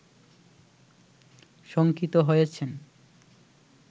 শঙ্কিত হয়েছেন